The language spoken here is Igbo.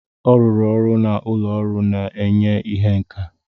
Ọ rụrụ ọrụ na ụlọ ọrụ na-enye ihe nka.